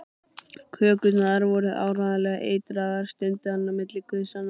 Kökurnar voru áreiðanlega eitraðar stundi hann á milli gusanna.